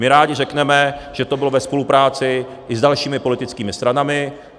My rádi řekneme, že to bylo ve spolupráci i s dalšími politickými stranami.